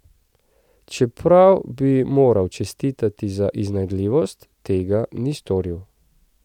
Čeprav bi ji moral čestitati za iznajdljivost, tega ni storil.